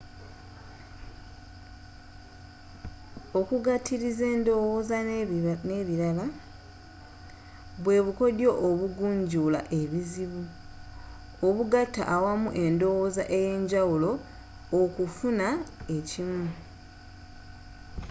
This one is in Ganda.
okugatiliza endowooza nebilala bwe bukodyo obugunjula ebizibu obugaata awamu endowooza eyenjawulo okufuuna ekimu